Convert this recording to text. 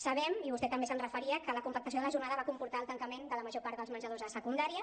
sabem i vostè també s’hi referia que la compactació de la jornada va comportar el tancament de la major part dels menjadors de secundària